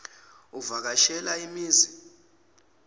uvaka shela imizi